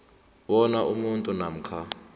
bona umuntu namkha